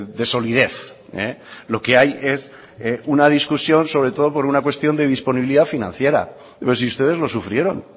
de solidez lo que hay es una discusión sobre todo por una cuestión de disponibilidad financiera pero si ustedes lo sufrieron